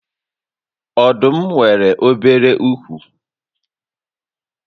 Ọdụm nwèrè obere úkwú